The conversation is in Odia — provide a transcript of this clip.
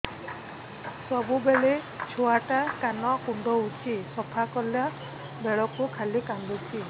ସବୁବେଳେ ଛୁଆ ଟା କାନ କୁଣ୍ଡଉଚି ସଫା କଲା ବେଳକୁ ଖାଲି କାନ୍ଦୁଚି